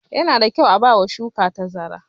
Yana da kyau a ba ma shuka tazara.